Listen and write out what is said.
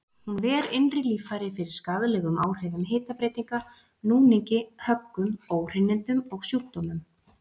Hún ver innri líffæri fyrir skaðlegum áhrifum hitabreytinga, núningi, höggum, óhreinindum og sjúkdómum.